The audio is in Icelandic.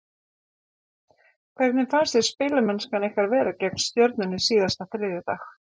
Hvernig fannst þér spilamennskan ykkar vera gegn Stjörnunni síðasta þriðjudag?